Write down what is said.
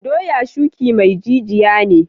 Doya shuki mai jiniya ne.